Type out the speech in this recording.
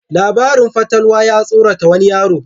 Larabin fatalwa ya tsorata wani yaro.